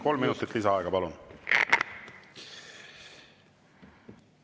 Kolm minutit lisaaega, palun!